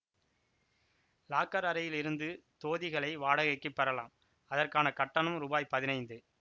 locker அறையில் இருந்து தோதிகளை வாடகைக்குப் பெறலாம் அதற்கான கட்டணம் ரூபாய் பதினைந்து